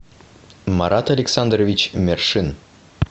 марат александрович мершин